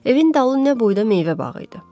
Evin dalı nə boyda meyvə bağı idi.